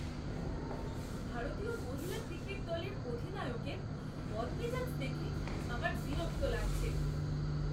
ভারতীয় মহিলা ক্রিকেট দলের অধিনায়কের বদমেজাজ দেখে আমার বিরক্ত লাগছে।